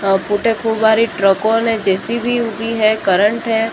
करंट है --